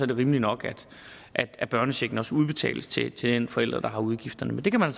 det rimeligt nok at børnechecken også udbetales til til den forælder der har udgifterne men det kan man